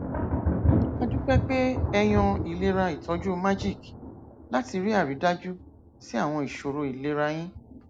a dúpẹ pé ẹ yan ìlera ìtọjú magic láti rí àrídájú sí àwọn ìṣòro ìlera yín